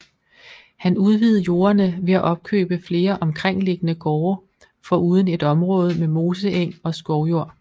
Han udvidede jordene ved at opkøbe flere omkringliggende gårde foruden et område med moseeng og skovjord